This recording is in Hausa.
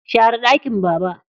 Share ɗakin Baba.